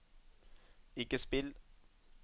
ikke spill